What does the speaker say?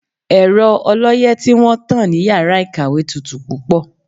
Ẹ̀rọ ọlọ́yẹ́ tí wọ́n tán ní yàrá ìkàwé tutù púpọ̀.